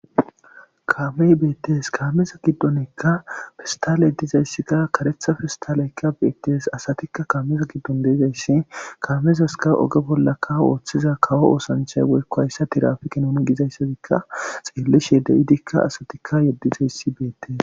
Kaamey beetees kaameza giddonikka pestale dizayssikka karetha pestaleyka beetees asatikka kaameza giddon de'izayssi kaamezaska oge bollaka oothiza kawo oosanchay woykko hayssa tirapike nuni gizayssakka xeelishe de'idika asatikka yedizayssi beetees.